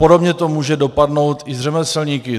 Podobně to může dopadnout i s řemeslníky.